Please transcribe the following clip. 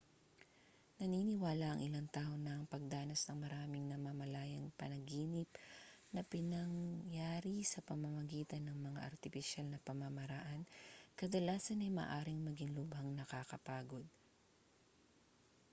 naniniwala ang ilang tao na ang pagdanas ng maraming namamalayang panaginip na pinangyari sa pamamagitan ng mga artipisyal na pamamaraan kadalasan ay maaaring maging lubhang nakakapagod